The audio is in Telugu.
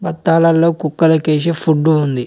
పత్తాలలో కుక్కలకి వేసి ఫుడ్డు ఉంది.